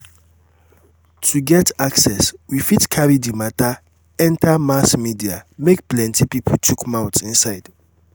to get access we fit carry di matter enter mass media make plenty pipo chook mouth inside